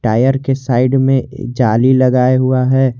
Tyre के side में जाली लगाया हुआ है।